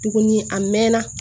Tuguni a mɛɛnna